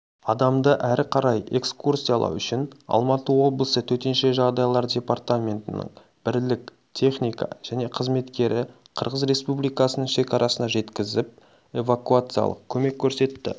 адамды әрі қарай экскурсиялау үшін алматы облысы төтенше жағдайлар департаментінің бірлік техника және қызметкері қырғыз республикасының шекарасына жеткізіп эвакуациялық көмек көрсетті